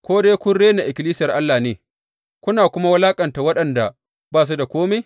Ko dai kun rena ikkilisiyar Allah ne, kuna kuma wulaƙanta waɗanda ba su da kome?